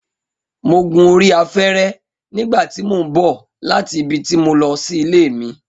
Mo gun orí afẹ́rẹ́ nígbà tí mò ń bọ̀ láti ibi tí mo lọ sí ilé mi